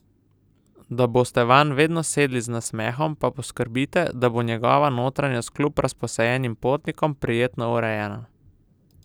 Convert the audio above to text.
Da boste vanj vedno sedli z nasmehom, pa poskrbite, da bo njegova notranjost kljub razposajenim potnikom prijetno urejena.